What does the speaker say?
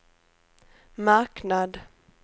marknad